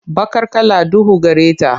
Baqar kala duhu gare ta.